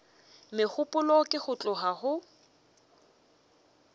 megopolo ke go tloga go